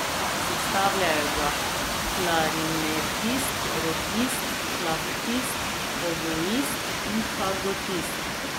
Sestavljajo ga klarinetist, rogist, flavtist, oboist in fagotist.